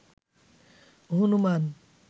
Hanuman